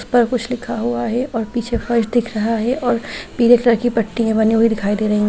पर कुछ लिखा हुआ है और पीछे फर्श दिख रहा है और पीले कलर की पट्टी बनी हुई दिखाई दे रही है।